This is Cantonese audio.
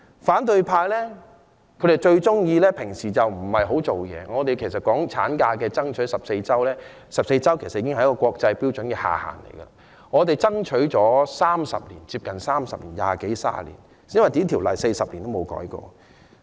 反對派平常不大工作，我們爭取產假增加至14周 ——14 周其實是國際標準的下限——已爭取接近30年的時間，而這項規定40年也沒有修改過。